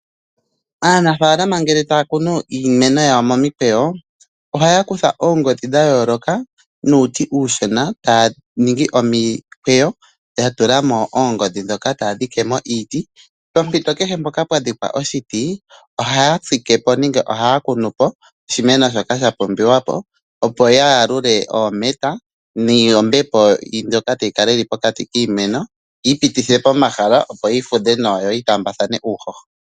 Aanafaalama ngele taya kunu iimeno yawo momikweyo ohaya kutha oongodhi dha yooloka nuuti uushona taya ningi omikweyo ya tula mo oongodhi ndhoka taya dhike mo uuti. Pompito kehe mpoka pwa dhikwa iiti ohaya tsike po nenge ya kune po oshimeno shoka sha pumbiwa po, opo ya yalule oometa noombepo ndhoka tayi kala pokati kiimeno yi ipitithile po omahala yo yi fudhe nawa yo yi taambathane uuhoho.